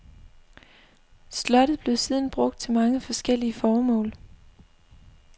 Slottet blev siden brugt til mange forskellige formål.